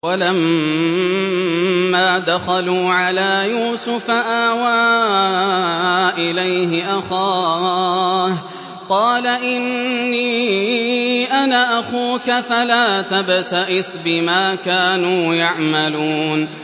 وَلَمَّا دَخَلُوا عَلَىٰ يُوسُفَ آوَىٰ إِلَيْهِ أَخَاهُ ۖ قَالَ إِنِّي أَنَا أَخُوكَ فَلَا تَبْتَئِسْ بِمَا كَانُوا يَعْمَلُونَ